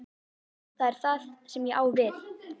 Það er það sem ég á við.